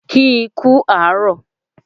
Kì í kú àárọ̀